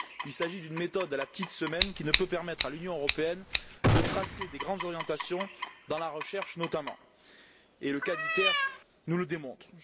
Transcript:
Il s'agit d'une méthode à la petite semaine qui ne peut permettre à l'Union européenne de tracer des grandes orientations, dans la recherche notamment, et le cas d'ITER nous le démontre.